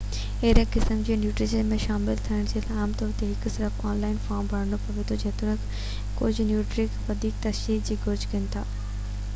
اهڙي قسم جي نيٽورڪ ۾ شامل ٿيڻ جي لاءِ عام طور تي صرف هڪ آن لائن فارم ڀرڻو پوي ٿو جيتوڻڪ ڪجهہ نيٽورڪ وڌيڪ تصديق جي گهرج ڪن ٿا